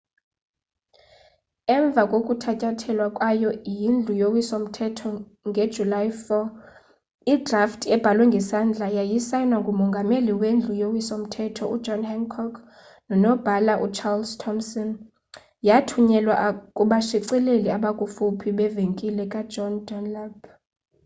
emva kokuthatyathwa kwayo yindlu yowiso mthetho ngejuly 4 idrafti ebhalwe ngesandla yasayinwa ngumongameli wendlu yowiso mthetho john hancock nonobhala ucharles thomson yathunyelwa kubashicileli abakufuphi bevenkile ka john dunlap